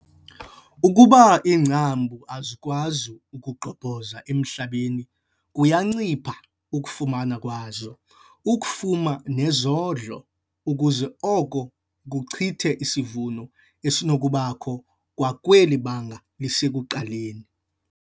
Ukuba iingcambu azikwazi kugqobhoza emhlabeni kuyancipha ukufumana kwazo ukufuma nezondlo ukuze oko kucuthe isivuno esinokubakho kwakweli banga lisekuqaleni.